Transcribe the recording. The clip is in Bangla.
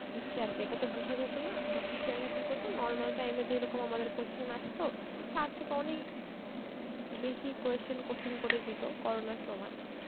দিচ্ছে আর কি ইটা তো বুঝা যেত না, তো teacher রা কি করত normal time এ যেই রকম আমাদের question আস্ত তার থেকে অনেক বেশি question কঠিন করে দিতি corona র সময়